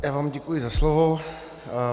Já vám děkuji za slovo.